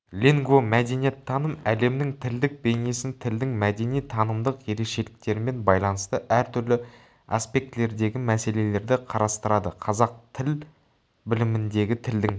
лингвомәдениеттаным әлемнің тілдік бейнесін тілдің мәдени-танымдық ерекшеліктерімен байланысты әртүрлі аспектілердегі мәселелерді қарастырады қазақ тіл біліміндегі тілдің